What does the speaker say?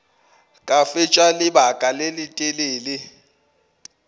ka fetša lebaka le letelele